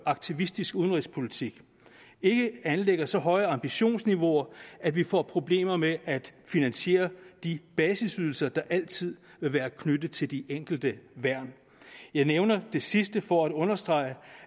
aktivistisk udenrigspolitik anlægger et så højt ambitionsniveau at vi får problemer med at finansiere de basisydelser der altid vil være knyttet til de enkelte værn jeg nævner det sidste for at understrege